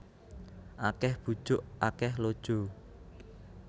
Akeh bujuk akeh lojo